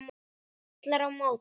Kallar á móti.